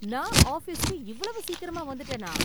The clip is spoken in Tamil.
நான் ஆபீஸ்க்கு இவ்வளவு சீக்கிரமா வந்துட்டேனா!